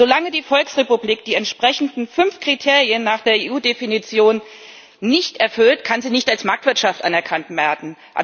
Solange die Volksrepublik die entsprechenden fünf Kriterien nach der EU Definition nicht erfüllt, kann sie nicht als Marktwirtschaft anerkannt werden.